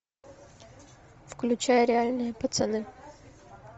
включай реальные пацаны